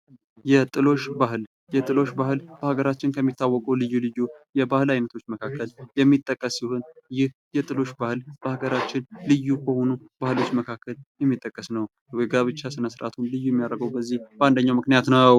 የጥሎሽ ባህል፤ የጥሎሽ ባህል በሀገራችን ከሚታወቁ ልዩ ልዩ የባህላዊ አይነቶች መካከል የሚጠቀስ ሲሆን ይህ የጥሎሽ ባህል በሀገራችን ልዩ በሆኑ ባህሎች መካከል የሚጠቀስ ነው። የጋብቻ ስነ ስርዓቱም ልዩ የሚያደርገው በዚህ በአንደኛው ምክንያት ነው።